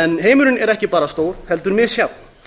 en heimurinn er ekki bara stór heldur misjafn